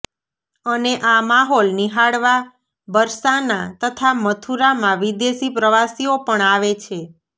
અને આ માહોલ નિહાળવા બરસાના તથા મથુરામાં વિદેશી પ્રવાસીઓ પણ આવે છે